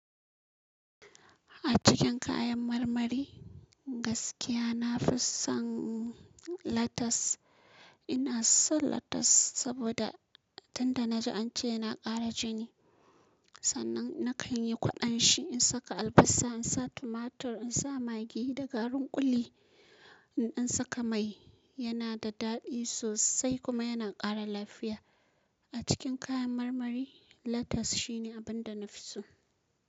A cikin kayan marmari, gaskiya na fi son latas. Ina son latas saboda tunda na ji an ce yana ƙara jini. Sannan na kan yi kwaɗon shi, in saka albasa, in sa tumatur, in sa magi da garin ƙuli, in dan saka mai, yana da daɗi sosai kuma yana ƙara lafiya. A cikin kayan marmari, latas shine abin da na fi so.